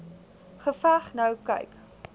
geveg nou kyk